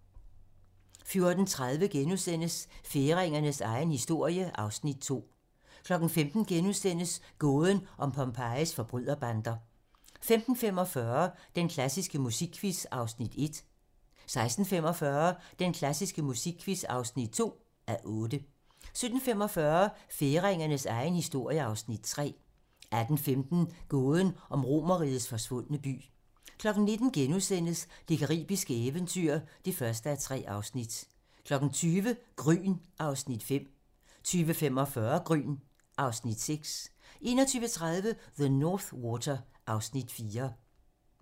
14:30: Færingernes egen historie (Afs. 2)* 15:00: Gåden om Pompejis forbryderbander * 15:45: Den klassiske musikquiz (1:8) 16:45: Den klassiske musikquiz (2:8) 17:45: Færingernes egen historie (Afs. 3) 18:15: Gåden om Romerrigets forsvundne by 19:00: Det caribiske eventyr (1:3)* 20:00: Gryn (Afs. 5) 20:45: Gryn (Afs. 6) 21:30: The North Water (Afs. 4)